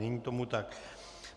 Není tomu tak.